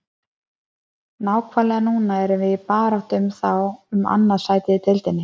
Nákvæmlega núna erum við í baráttu við þá um annað sætið í deildinni.